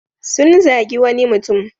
Sun zagi wani mutum.